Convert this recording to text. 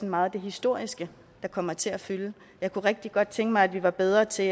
meget det historiske der kommer til at fylde jeg kunne rigtig godt tænke mig at vi var bedre til